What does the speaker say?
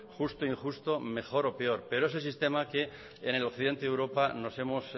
justo o injusto mejor o peor pero es sistema que en el occidente de europa nos hemos